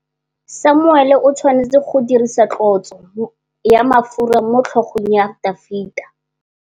Samuele o tshwanetse go dirisa tlotsô ya mafura motlhôgong ya Dafita.